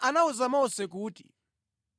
Yehova anawuza Mose kuti,